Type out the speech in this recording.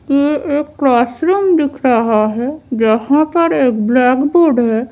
यह एक क्लासरूम दिख रहा है जहां पर एक ब्लैक बोर्ड है।